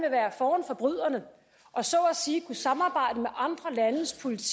vil være foran forbryderne og så at sige kunne samarbejde med andre landes politi